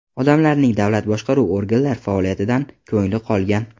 Odamlarning davlat boshqaruv organlar faoliyatidan ko‘ngli qolgan.